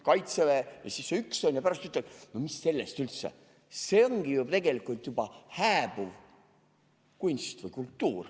Jääb see üks ja pärast ütleme, et mis sellest üldse, see ongi ju tegelikult juba hääbuv kunst.